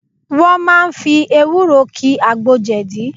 Wọ́n máa fi ewúro ki àgbo jẹ̀dí